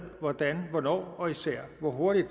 hvordan hvornår og især hvor hurtigt